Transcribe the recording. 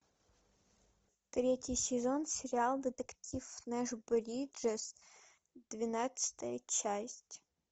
третий сезон сериал детектив нэш бриджес двенадцатая часть